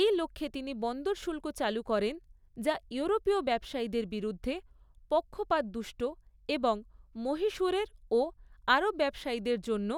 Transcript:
এই লক্ষ্যে তিনি বন্দর শুল্ক চালু করেন যা ইউরোপীয় ব্যবসায়ীদের বিরুদ্ধে পক্ষপাতদুষ্ট এবং মহীশূরের ও আরব ব্যবসায়ীদের জন্য